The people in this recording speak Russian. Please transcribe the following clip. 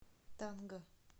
танга